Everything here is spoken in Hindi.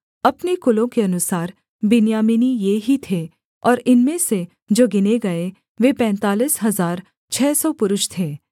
अपने कुलों के अनुसार बिन्यामीनी ये ही थे और इनमें से जो गिने गए वे पैंतालीस हजार छः सौ पुरुष थे